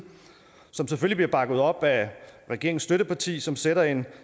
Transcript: som selvfølgelig bliver bakket op af regeringens støtteparti som sætter en